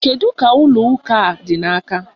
Kedu ka ụlọ ụka a dị n'aka?